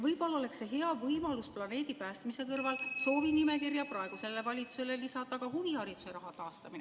Võib-olla oleks see hea võimalus planeedi päästmise kõrval lisada soovinimekirja praegusele valitsusele ka huvihariduse raha taastamine.